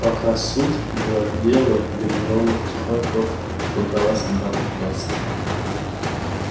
пока суд да дело гермиона тихонько прокралась обратно в класс